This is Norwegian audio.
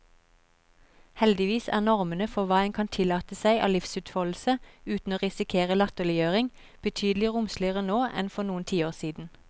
Heldigvis er normene for hva en kan tillate seg av livsutfoldelse uten å risikere latterliggjøring, betydelig romsligere nå enn for noen tiår siden.